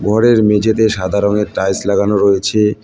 ঘরের মেঝে তে সাদা রংয়ের টাইলস লাগানো রয়েছে।